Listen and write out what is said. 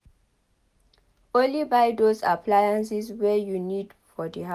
Only buy those appliances wey you need for di house